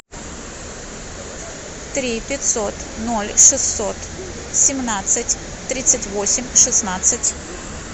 три пятьсот ноль шестьсот семнадцать тридцать восемь шестнадцать